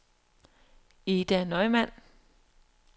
Ida Neumann